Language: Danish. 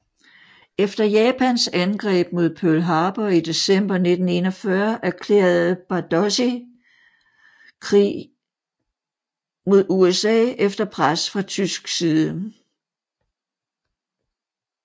Efter Japans angreb mod Pearl Harbor i december 1941 erklærede Bárdossy krig mod USA efter pres fra tysk side